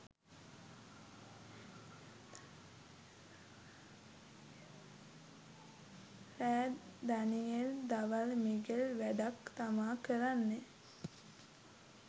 රෑ දනියෙල් දවල් මිගෙල් වැඩක් තමා කරන්නේ